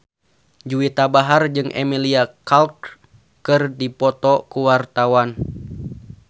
Juwita Bahar jeung Emilia Clarke keur dipoto ku wartawan